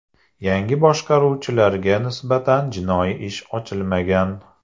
Yangi boshqaruvchilarga nisbatan jinoiy ish ochilmagan.